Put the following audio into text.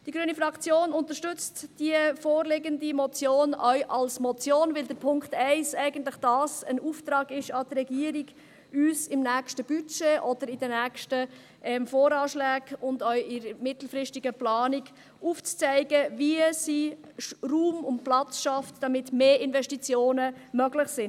Die grüne Fraktion unterstützt die vorliegende Motion auch als Motion, weil Punkt 1 eigentlich ein Auftrag an die Regierung ist, uns im nächsten Budget oder in den nächsten VA und auch in der mittelfristigen Planung aufzuzeigen, wie sie Raum und Platz schafft, damit mehr Investitionen möglich sind.